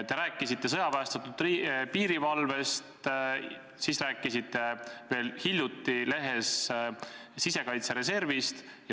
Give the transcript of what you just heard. Te rääkisite sõjaväestatud piirivalvest, veel hiljuti te rääkisite lehes sisekaitsereservist.